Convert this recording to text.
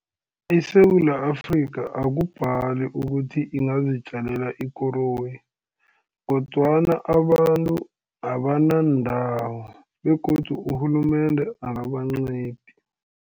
ISewula Afrika akubhali ukuthi ingazitjalela ikoroyi, kodwana abantu abanandawo, begodu urhulumende akabancedi.